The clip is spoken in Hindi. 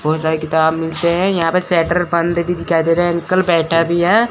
बहुत सारे किताब मिलते हैं यहां पे शेटर बंद भी दिखाई दे रहे हैं अंकल बैठा भी है।